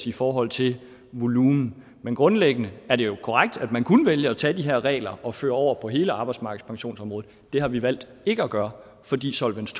i forhold til volumen men grundlæggende er det jo korrekt at man kun vælger at tage de her regler og føre dem over på hele arbejdsmarkedspensionsområdet det har vi valgt ikke at gøre fordi solvens